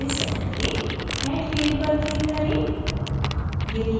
अब इसे set करें add field पर click करें